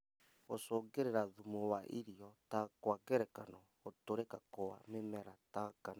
Gũcũngĩrĩria thumu wa irio ta Kwa ngerekano gũtũrĩka gwa mĩmera ta ngano